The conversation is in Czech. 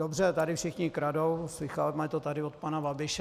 Dobře, tady všichni kradou, slýcháme to tady od pana Babiše.